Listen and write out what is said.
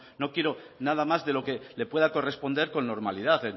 no quiero nada más de lo que le pueda corresponder con normalidad